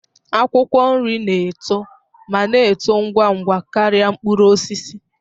Akwụkwọ nri na-eto ma na-eto ngwa ngwa karịa mkpụrụ osisi